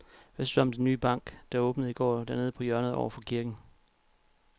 Hvad synes du om den nye bank, der åbnede i går dernede på hjørnet over for kirken?